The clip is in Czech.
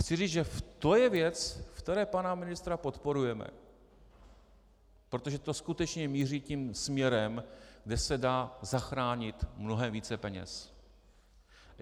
Chci říct, že to je věc, v které pana ministra podporujeme, protože to skutečně míří tím směrem, kde se dá zachránit mnohem více peněz.